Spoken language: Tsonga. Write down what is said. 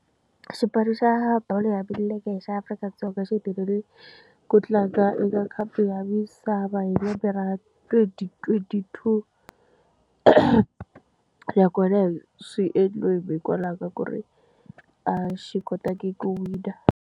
Xipano xa bolo ya milenge hi xa Afrika-Dzonga xi hetelele ku tlanga eka khapu ya misava hi lembe ra twenty-twenty two nakona hi swi endliweni hikwalaho ka ku ri a xi kotangi ku wina.